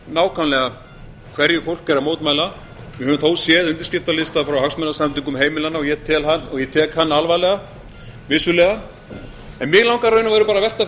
nákvæmlega hverju fólk er að mótmæla við höfum þó séð undirskriftalista frá hagsmunasamtökum heimilanna og ég tek hann vissulega alvarlega en mig langar í raun og veru að velta